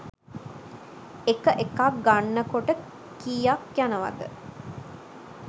එක එකක් ගන්නකොට කියක් යනවද?